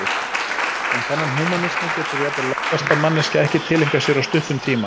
En þennan húmanisma getur jafnvel lærðasta manneskja ekki tileinkað sér á stuttum tíma.